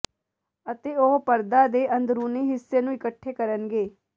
ਅਤੇ ਉਹ ਪਰਦਾ ਦੇ ਅੰਦਰੂਨੀ ਹਿੱਸੇ ਨੂੰ ਇਕੱਠੇ ਕਰਨਗੇ